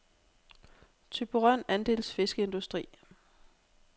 Thyborøn Andels Fiskeindustri